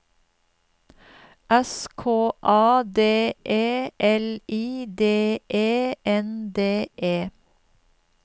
S K A D E L I D E N D E